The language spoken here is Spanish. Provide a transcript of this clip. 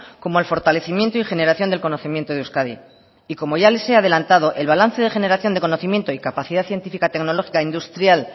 como el fortalecimiento y generación del conocimiento de euskadi y como ya les he adelantado el balance de generación de conocimiento y capacidad científica tecnológica e industrial